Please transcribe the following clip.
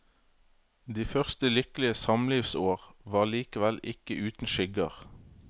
De første lykkelige samlivsår var likevel ikke uten skygger.